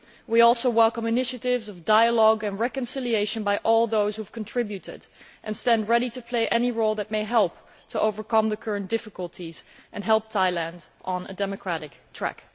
We also welcome initiatives of dialogue and reconciliation by all those who have contributed, and stand ready to play any role that may help to overcome the current difficulties and help Thailand onto a democratic track.